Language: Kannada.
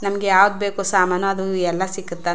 ನಮ್ಮಗೆ ಯಾವ್ದ್ ಬೇಕು ಸಾಮಾನು ಅದು ಎಲ್ಲಾ ಸಿಕ್ಕುತ.